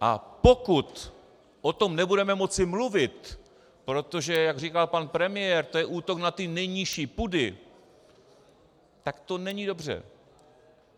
A pokud o tom nebudeme moci mluvit, protože jak říkal pan premiér, to je útok na ty nejnižší pudy, tak to není dobře.